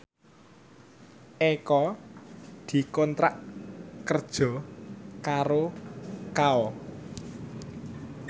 Eko dikontrak kerja karo Kao